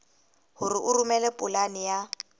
hore o romele polane ya